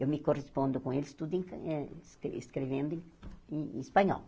Eu me correspondo com eles, tudo em eh es escrevendo em em espanhol.